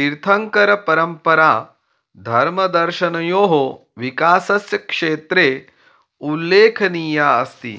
तीर्थङ्करपरम्परा धर्मदर्शनयोः विकासस्य क्षेत्रे उल्लेखनीया अस्ति